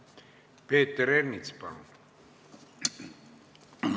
Peeter Ernits, palun!